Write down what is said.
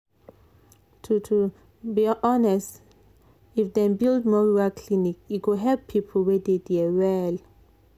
to to be honest if dem build more rural clinic e go help people wey dey there well.